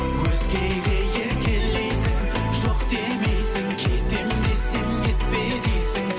өзгеге еркелейсің жоқ демейсің кетемін десем кетпе дейсің